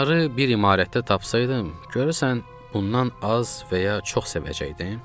Onları bir imarətdə tapsaydım, görəsən bundan az və ya çox sevəcəkdim?